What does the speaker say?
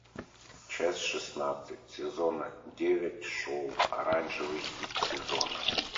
часть шестнадцать сезона девять шоу оранжевый хит сезона